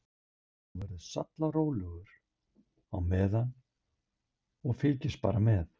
Þú verður sallarólegur á meðan og fylgist bara með.